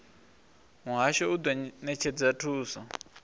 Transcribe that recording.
muhasho u do netshedza thuso